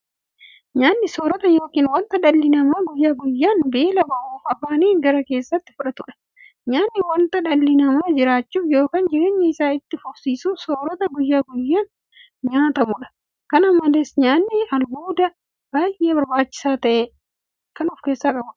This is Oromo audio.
Nyaanni soorota yookiin wanta dhalli namaa guyyaa guyyaan beela ba'uuf afaaniin gara keessaatti fudhatudha. Nyaanni wanta dhalli namaa jiraachuuf yookiin jireenya isaa itti fufsiisuuf soorata guyyaa guyyaan nyaatamudha. Kana malees nyaanni albuuda baay'ee barbaachisaa ta'e kan of keessaa qabudha.